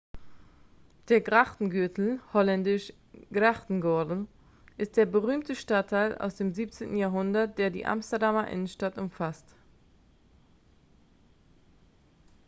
der grachtengürtel holländisch: grachtengordel ist der berühmte stadtteil aus dem 17. jahrhundert der die amsterdamer innenstadt umfasst